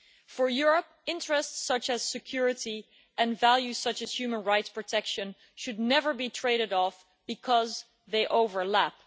For Europe, interests such as security and values such as human rights protection should never be traded off because they overlap.